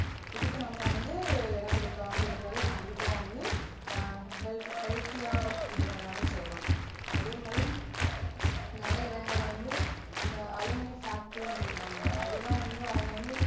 இதுக்கு நம்ம வந்து இடம் கொடுக்காம இருந்தாலே கண்டிப்பா வந்து ஆஹ் healthy ஆ இது பண்ணலாம்னு சொல்லலாம் அதேமாதிரி நிறைய இடங்களில வந்து இந்த அலுமினிய factory னு சொல்லுவாங்க அதெல்லாம் வந்து அவங்க வந்து